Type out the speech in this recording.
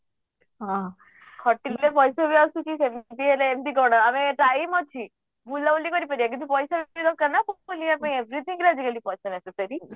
ହଁ ଖଟିଲେ ପଇସା ବି ଆସୁଛି ସେମିତି ବି ହେଲେ ଏମିତି କଣ ଆବେ time ଅଛି ବୁଲାବୁଲି କରିପାରିବା କିନ୍ତୁ ପଇସା ବି ଦରକାର ନା ବୁଲୁବା ପାଇଁ ଆଜି everything ରେ ଆଜି କାଲି ପଇସା necessary